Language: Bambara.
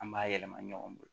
An b'a yɛlɛma ɲɔgɔn bolo